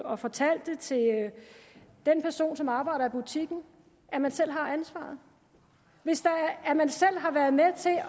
og fortalte den person som arbejder i butikken at man selv har ansvaret at man selv har været med til at